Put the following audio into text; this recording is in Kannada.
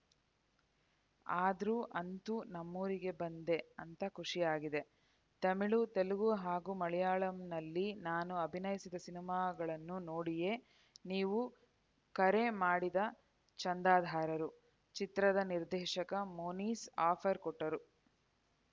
ಆದ್ರೂ ಅಂತೂ ನಮ್ಮೂರಿಗೆ ಬಂದೆ ಅಂತ ಖುಷಿ ಆಗಿದೆ ತಮಿಳು ತೆಲುಗು ಹಾಗೂ ಮಲಯಾಳಂನಲ್ಲಿ ನಾನು ಅಭಿನಯಿಸಿದ ಸಿನಿಮಾಗಳನ್ನು ನೋಡಿಯೇ ನೀವು ಕರೆ ಮಾಡಿದ ಚಂದದಾರರು ಚಿತ್ರದ ನಿರ್ದೇಶಕ ಮೋನಿಸ್‌ ಆಫರ್‌ ಕೊಟ್ಟರು